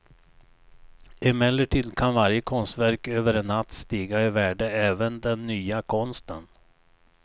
Emellertid kan varje konstverk över en natt stiga i värde även den nya konsten.